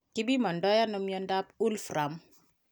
Kipimandoi ano miondop wolfram?